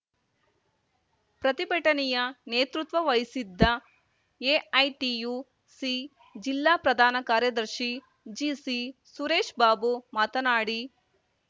ಪ್ರತಿಭಟನೆಯ ನೇತೃತ್ವ ವಹಿಸಿದ್ದ ಎಐಟಿಯುಸಿ ಜಿಲ್ಲಾ ಪ್ರಧಾನ ಕಾರ್ಯದರ್ಶಿ ಜಿಸಿಸುರೇಶ್‌ಬಾಬು ಮಾತನಾಡಿ